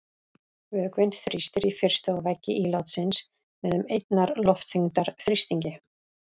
Vökvinn þrýstir í fyrstu á veggi ílátsins með um einnar loftþyngdar þrýstingi.